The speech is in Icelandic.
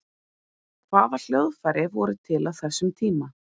hvaða hljóðfæri voru til á þessum tíma